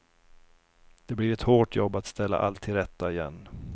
Det blir ett hårt jobb att ställa allt till rätta igen.